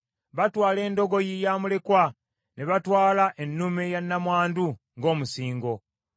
Batwala endogoyi ya mulekwa ne batwala ennume ya nnamwandu ng’omusingo.